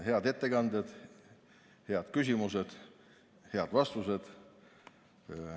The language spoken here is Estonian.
Head ettekanded, head küsimused, head vastused.